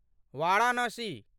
Varanasi